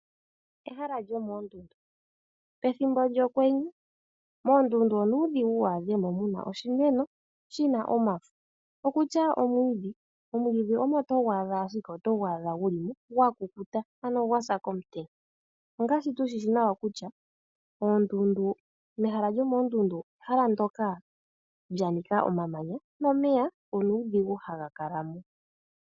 Ehala lyomoondundu, pethimbo lyokwenye moondundu onuudhigu wu adhe mo muna oshimeno shina omafo okutya omwiidhi. Omwiidhi omo togu adha ashike otugu adha guli mo gwa kukuta ano gwa sa komutenya. Ongaashi tu shishi nawa kutya oondundu, mehala lyomoondundu ehala ndoka lya nika omamanya nomeya onuudhigu haga kala mo.